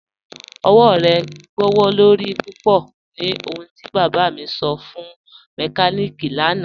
Ọwọ̀ rẹ gbọwọ́lorí púpọ̀ ni ohùn ti bába mi sọ̀ fún mẹ́kàníkí lànà.